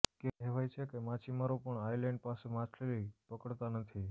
કહેવાય છે કે માછીમારો પણ આઈલેન્ડ પાસે માછલી પકડતા નથી